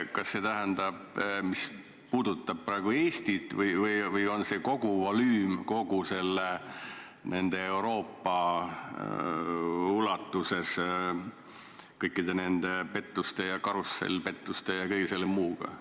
Kas see puudutab Eestit või on see kogu volüüm, kogu Euroopa ulatuses kõigi nende pettuste, karussellpettuste ja kõige selle muu puhul?